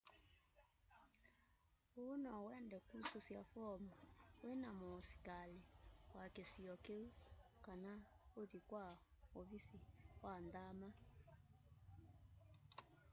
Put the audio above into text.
uu nowende kususya foomu wina muusikali wa kisio kiu kana uthi kwa uvisi wa nthama